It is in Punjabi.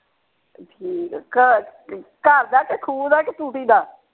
ਠੀਕ ਹੈ ਘਰ ਘਰ ਦਾ ਕੇ ਖੂਹ ਦਾ ਕੇ ਟੂਟੀ ਦਾ।